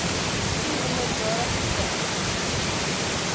u minderjarige kind